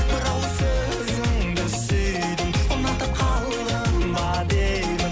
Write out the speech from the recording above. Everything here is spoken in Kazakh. бір ауыз сөзіңді сүйдім ұнатып қалдым ба деймін